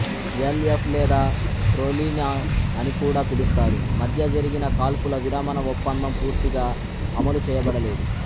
L F లేదా ఫ్రొలినా అని కూడా పిలుస్తారు మద్య జరిగిన కాల్పుల విరమణ ఒప్పందం పూర్తిగా అమలు చేయబడలేదు